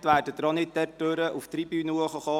Somit kommen sie auch nicht auf diesem Weg zur Tribüne.